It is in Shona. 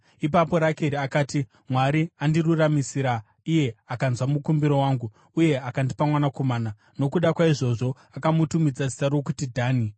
Ipapo Rakeri akati, “Mwari andiruramisira; iye akanzwa mukumbiro wangu uye akandipa mwanakomana.” Nokuda kwaizvozvo akamutumidza zita rokuti Dhani.